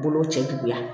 Bolo cɛ juguya